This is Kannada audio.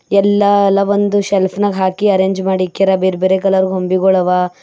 ಎಲ್ಲಾ ಎಲ್ಲಾ ಒಂದು ಶೆಲ್ಫ್ ನಾಗ್ ಹಾಕಿ ಅರೆಂಜ್ ಮಾಡಿಕ್ಕಾರಾ ಬೇರೆ ಬೇರೆ ಕಲರ್ ಗೊಂಬಿಗಳವಾ ಮತ್ --